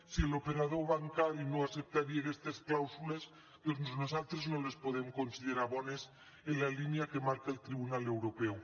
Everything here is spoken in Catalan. si l’operador bancari no acceptaria aquestes clàusules doncs nosaltres no les podem considerar bones en la línia que marca el tribunal europeu